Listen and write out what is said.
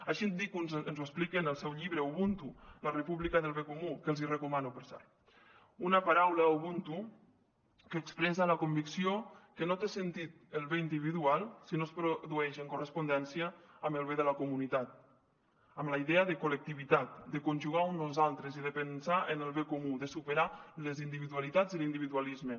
així dic que ens ho explica en el seu llibre ubuntu la república del bé comú que els hi recomano per cert una paraula ubuntu que expressa la convicció que no té sentit el bé individual si no es produeix en correspondència amb el bé de la comunitat amb la idea de col·lectivitat de conjugar un nosaltres i de pensar en el bé comú de superar les individualitats i l’individualisme